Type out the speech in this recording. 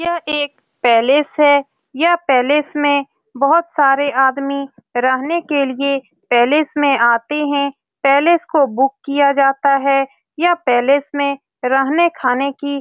यह एक पैलेस है यह पैलेस में बहुत सारे आदमी रहने के लिए पैलेस में आते है पैलेस को बुक किया जाता है यह पैलेस में रहने खाने की --